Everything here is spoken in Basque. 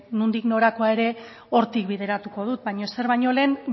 nondik norakoa ere hortik bideratuko dut baino ezer baino lehen